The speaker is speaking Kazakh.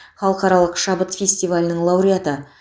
халықаралық шабыт фестивалінің лауреаты